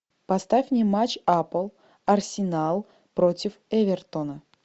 поставь мне матч апл арсенал против эвертона